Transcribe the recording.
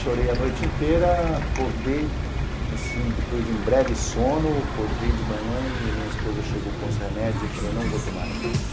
Chorei a noite inteira, acordei, assim, depois de um breve sono, acordei de manhã e minha esposa chegou com os remédios e eu falei, não vou tomar remédio.